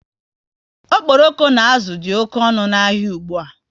Okporoko na azụ dị oké ọnụ n'ahia ụgbụa